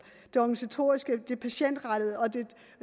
det organisatoriske det patientrettede og det